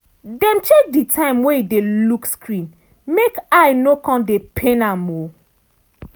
dem check di time wey e dey look screen make eye no come dey pain am. um